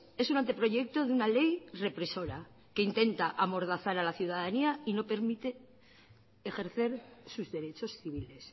es un anteproyecto de una ley represora que intenta amordazar a la ciudadanía y no permite ejercer sus derechos civiles